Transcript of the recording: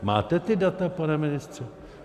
Máte ta data, pane ministře?